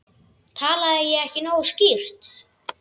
Talaði ég ekki nógu skýrt?